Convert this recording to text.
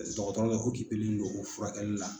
Ɛs dɔgɔtɔrɔ dɔ don o furakɛli la.